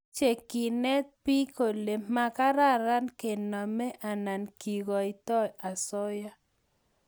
Mache kenet biik kole makararan kename anan kekoitoiy asoya